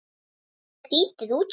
Skrýtið útspil.